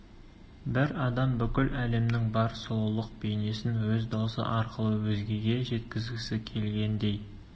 бір адам бүкіл әлемнің бар сұлулық бейнесін өз даусы арқылы өзгеге жеткізгісі келгендей